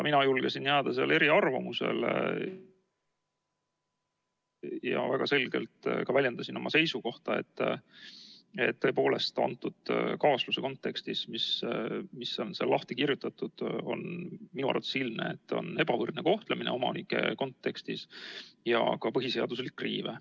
Mina julgesin jääda eriarvamusele ja väga selgelt ka väljendasin oma seisukohta, et tõepoolest, selle kaasuse kontekstis, nii nagu seal on lahti kirjutatud, on minu arvates ilmne, et tegemist on omanike ebavõrdse kohtlemisega ja esineb ka põhiseaduslik riive.